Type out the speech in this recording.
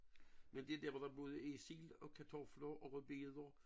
Men den der hvor der både er sild og kartofler og rødbeder